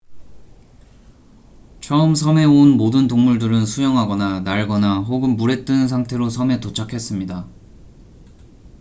처음 섬에 온 모든 동물들은 수영하거나 날거나 혹은 물에 뜬 상태로 섬에 도착했습니다